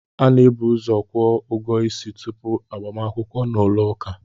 A na-ebuuzo kwuo ụgwọ isi tupu agbakwukwo n'ụlọ ụka